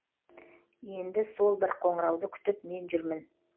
енді сол бір қоңырауды күтіп мен жүрмін